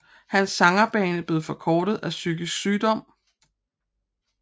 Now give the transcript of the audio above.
Hans sangerbane blev forkortet af psykisk sygdom